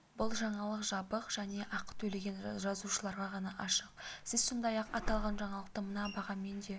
бұл жаңалық жабық және ақы төлеген жазылушыларға ғана ашық сіз сондай-ақ аталған жаңалықты мына бағамен де